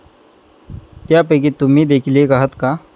त्यापैकीच तुम्ही देखील एक आहात का?